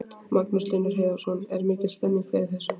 Magnús Hlynur Hreiðarsson: Er mikil stemning fyrir þessu?